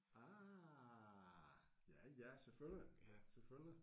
Ah ja ja selvfølgelig selvfølgelig